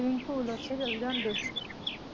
swimming pool ਉੱਥੇ ਚਲ ਜਾਂਦੇ